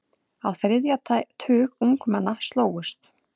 Á þriðja tug ungmenna slógust.